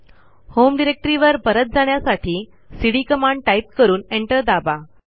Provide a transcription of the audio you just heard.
home डिरेक्टरीवर परत जाण्यासाठी सीडी कमांड टाईप करून एंटर दाबा